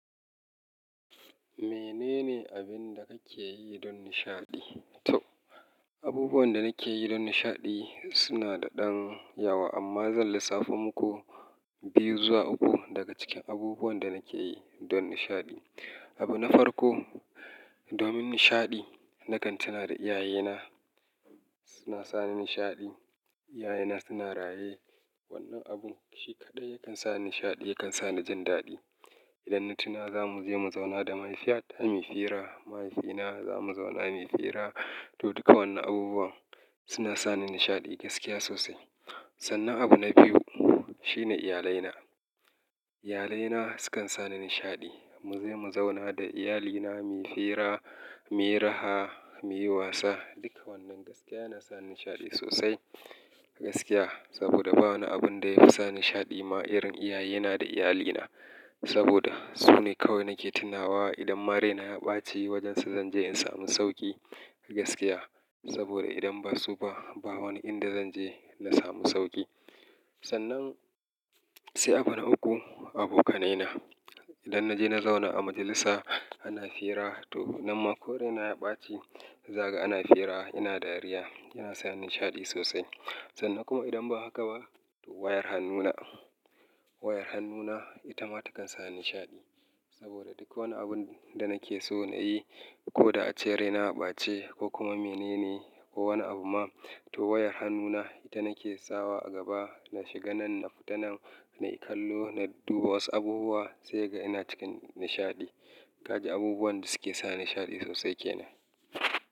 Menene abin da kake yi don nishaɗi? To, abubuwan da nake yi don nishaɗi suna da ɗan yawa, amma zan lissafo muku, biyu zuwa uku daga cikin abubuwan da nake yi don nishaɗi. Menene abin da kake yi don nishaɗi? To, abubuwan da nake yi don nishaɗi suna da ɗan yawa, amma zan lissafo muku, Abu na farko, domin nishaɗi, nakan tuna da iyayena suna sa ni nishaɗi. Wannan abun shi kaɗai yakan sa ni nishaɗi, yakan sa ni jin daɗi. Idan na tuna za mu je mu zauna da mahaifiyar, mu yi hira, mahaifina, za mu zauna mu yi hira, to duka wannan abubuwan suna sa ni nishaɗi gaskiya sosai. Sannan abu na biyu shine iyalaina. Iyalaina sukan sa ni nishaɗi. Mu je mu zauna da iyalina, mu yi fira, mu yi raha, mu yi wasa. Duka wannan gaskiya na sa ni nishaɗi sosai gaskiya. Saboda ba wani abun da ya fi sa nishaɗi ma irin iyayena da iyalina. Saboda su ne kawai nake tunawa idan ma raina ya ɓace wajensa, zan je in samu sauƙi gaskiya. Saboda idan ba su ba, ba wani inda zan je na samu sauƙi. Sannan sai abu na uku, abokanaina. Idan na je na zauna a majalisa, ana hira, to nan ma ko raina ya ɓace, zaga ana hira, ina dariya, yana sa nishaɗi sosai. Sannan kuma idan ba haka ba, to wayar hannuna. Wayar hannuna ita ma ta kan sa ni nishaɗi. Saboda duk wani abun da nake so na yi, ko da a ce raina ya ɓace ko kuma menene ko wani abu ma, to wayar hannuna ita nake sawa a gaba na shiga nan nafita nan, na yi kallo, na duba wasu abubuwa sai ga ina cikin nishaɗi. Ka ji abubuwan da suke sa nishaɗi sosai ke nan.